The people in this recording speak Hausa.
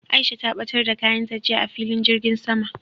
Aisha ta ɓatar da kayan ta jiya a filin jirgin sama